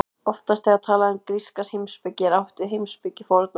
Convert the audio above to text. Oftast þegar talað er um gríska heimspeki er átt við heimspeki fornaldar.